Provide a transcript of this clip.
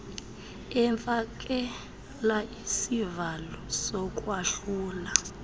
efakela isivalo sokwahlula